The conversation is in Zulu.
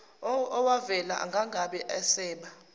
owavela akangabe esaba